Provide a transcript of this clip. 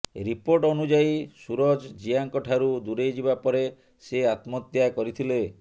report ଅନୁଯାୟୀ ସୁରଜ ଜିୟାଙ୍କ ଠାରୁ ଦୂରେଇ ଯିବା ପରେ ସେ ଆତ୍ମହତ୍ୟା କରିଥିଲେ